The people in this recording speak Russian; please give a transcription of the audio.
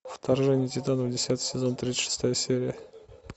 вторжение титанов десятый сезон тридцать шестая серия